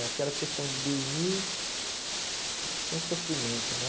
É aquela questão de dormir sem sofrimento, né?